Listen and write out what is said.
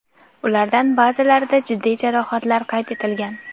Ulardan ba’zilarida jiddiy jarohatlar qayd etilgan.